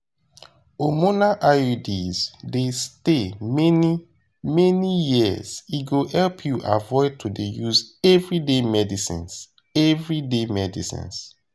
hormonal iuds dey stay many-many years e go help you avoid to dey use everyday medicines everyday medicines